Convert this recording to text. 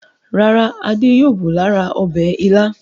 Rárá, Adé yóò bù lára ọbẹ̀ Ìlá.